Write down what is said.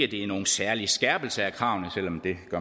det er nogen særlig skærpelse af kravene selv om